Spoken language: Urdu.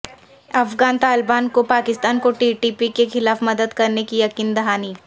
افغان طالبان کی پاکستان کو ٹی ٹی پی کے خلاف مدد کرنے کی یقین دہانی